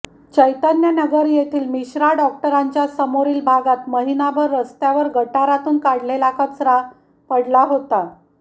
चैतन्यनगर येथील मिश्रा डॉक्टरांच्या समोरील भागात महिनाभर रस्त्यावर गटारातून काढलेला कचरा पडला होता